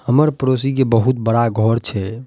हमर पड़ोसी के बहुत बड़ा घर छै।